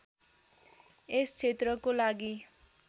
यस क्षेत्रको लागि